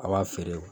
A b'a feere